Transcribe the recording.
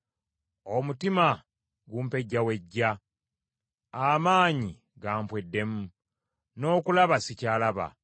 Omutima gumpejjawejja, amaanyi gampweddemu; n’okulaba sikyalaba.